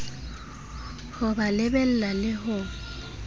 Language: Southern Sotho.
ho ba lebella le ho